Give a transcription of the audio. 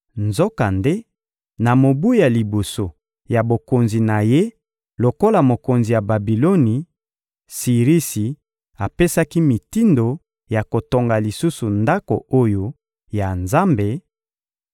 Nzokande, na mobu ya liboso ya bokonzi na ye lokola mokonzi ya Babiloni, Sirisi apesaki mitindo ya kotonga lisusu Ndako oyo ya Nzambe,